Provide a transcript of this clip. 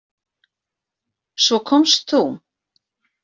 Svo komst þú.